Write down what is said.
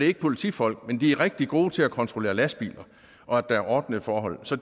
ikke politifolk men de er rigtig gode til at kontrollere lastbiler og at der er ordnede forhold så